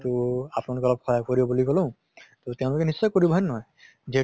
তহ আপোনালোকে অলপ সহায় কৰিব বুলি কলো, তʼ তেওঁলোকে নিশ্চয় কৰিব হয় নে নহয়? যিহেতু